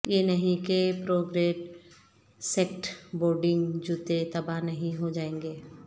یہ نہیں کہ پرو گریڈ سکیٹ بورڈنگ جوتے تباہ نہیں ہو جائیں گے